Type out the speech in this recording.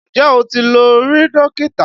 Ǹjẹ́ o ti lọ rí Dókítà?